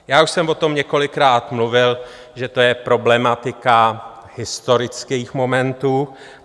Já už jsem o tom několikrát mluvil, že to je problematika historických momentů.